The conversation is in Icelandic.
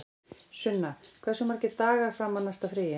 Sunna, hversu margir dagar fram að næsta fríi?